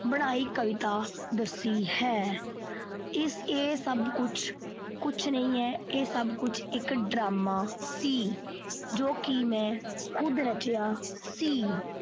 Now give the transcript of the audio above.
ਬਣਾਈ ਕਵਿਤਾ ਦੱਸੀ ਹੈ। ਇਹ ਸਭ ਕੁਛ ਨਹੀਂ ਹੈ। ਇਹ ਸਭ ਕੁਛ ਇੱਕ ਡਰਾਮਾ ਸੀ ਜੋ ਮੈਂ ਖੁਦ ਰਚਿਆ ਸੀ।